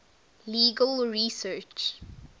legal research